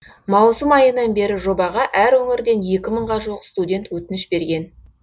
маусым айынан бері жобаға әр өңірден екі мыңға жуық студент өтініш берген